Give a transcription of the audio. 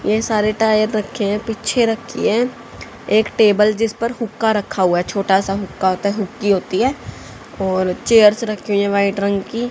यह सारे टायर रखे हैं पीछे रखी हैं एक टेबल जिस पर हुका रखा हुआ है छोटा सा हुका होता है हुकी होती है और चेयर्स रखी हुई हैं व्हाइट रंग की।